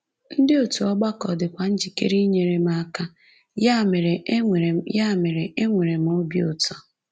Ndị òtù ọgbakọ dịkwa njikere inyere m aka, ya mere, enwere ya mere, enwere m obi ụtọ.